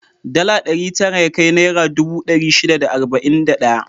Dala ɗari tara yakai naira dubu ɗari shida da arba'in da ɗaya.